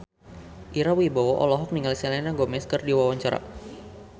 Ira Wibowo olohok ningali Selena Gomez keur diwawancara